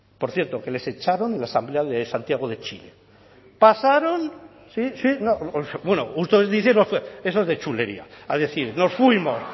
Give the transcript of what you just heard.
por cierto que les echaron en la asamblea de santiago de chile pasaron sí sí bueno ustedes dicen eso es de chulería a decir nos fuimos